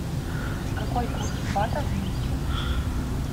какой курс бата в минске